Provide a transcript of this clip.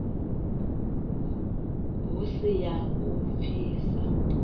hu si ya u pfisa